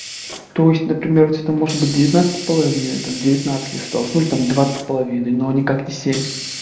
то есть например вот это может быть девятнадцать с половиной там девятнадцать листов ну там двадцать с половиной но никак не семь